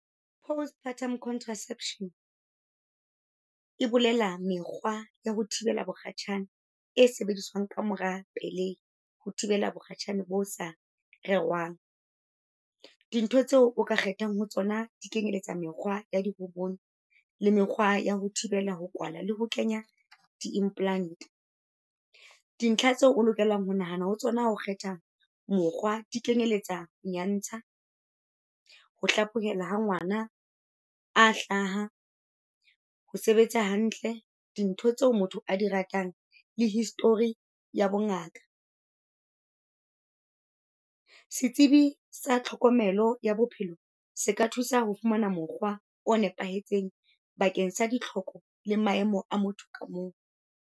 Postpartum contraception e bolela mekgwa ya ho thibela bokgatjhane e sebediswang ka mora pelehi ho thibela bokgatjhane bo sa rerwang. Dintho tseo o ka kgethang ho tsona dikenyeletsa mekgwa ya di le mekgwa ya ho thibela ho kwala le ho kenya di-implant. Dintlha tseo o lokelang ho nahana ho tsona ho kgetha mokgwa dikenyeletsa nyantsha, ho hlaphohela ha ngwana a hlaha, ho sebetsa hantle, dintho tseo motho a di ratang le history ya bongaka. Setsibi sa tlhokomelo ya bophelo se ka thusa ho fumana mokgwa o nepahetseng bakeng sa ditlhoko le maemo a motho ka mong.